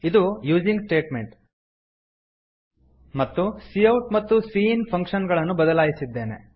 ಇದು using statement ಮತ್ತು cout ಮತ್ತು ಸಿಇನ್ ಫಂಕ್ಷನ್ ಗಳನ್ನು ಬದಲಾಯಿಸಿದ್ದೇವೆ